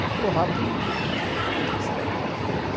Mas falou rápido, eu não tinha prestado atenção, né.